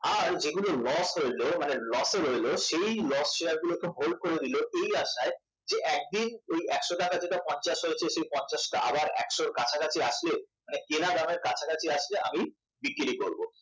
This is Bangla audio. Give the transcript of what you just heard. আর যেগুলো loss হইল মানে loss এ রইলো সেই loss শেয়ার গুলোকে hold করে দিল এই আশায় যে একদিন যেই একশ টাকা পঞ্চাশ হয়েছে সেই পঞ্চাশটা আবার কাছাকাছি আসলে কেনা দামের কাছাকাছি আসলে আমি বিক্রি করব